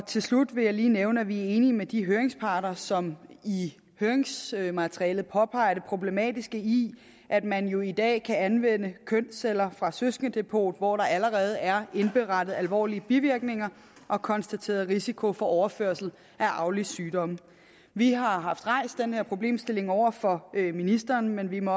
til slut vil jeg lige nævne at vi er enige med de høringsparter som i høringsmaterialet påpeger det problematiske i at man jo i dag kan anvende kønsceller fra et søskendedepot hvor der allerede er indberettet alvorlige bivirkninger og konstateret risiko for overførsel af arvelige sygdomme vi har rejst den her problemstilling over for ministeren men vi må